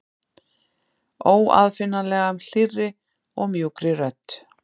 Óaðfinnanlega, hlýrri og mjúkri rödd.